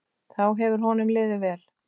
Þá hefur honum liðið vel.